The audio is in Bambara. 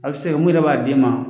A be se ka kɛ mun yɛrɛ b'a d'e ma